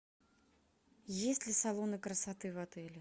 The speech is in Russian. есть ли салоны красоты в отеле